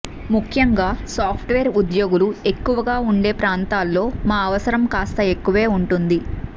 ముఖ్యంగా సాఫ్ట్వేర్ ఉద్యోగులు ఎక్కువగా ఉండే ప్రాంతాల్లో మా అవసరం కాస్త ఎక్కువే ఉంటుంది